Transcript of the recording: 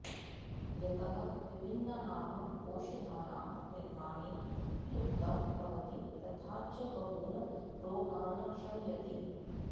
यतः विभिन्नानाम् औषधानां निर्माणे उपयुक्तं भवति तथा च बहून् रोगान् शमयति